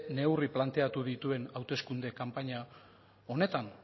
neurri planteatu dituen hauteskunde kanpaina honetan